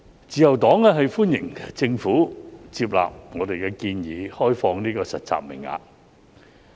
自由黨歡迎政府接納我們的建議，開放實習名額。